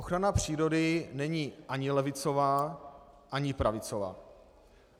Ochrana přírody není ani levicová ani pravicová.